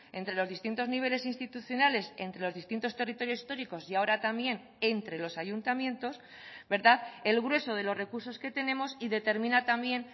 entre los distintos niveles institucionales entre los distintos territorios históricos y ahora también entre los ayuntamientos verdad el grueso de los recursos que tenemos y determina también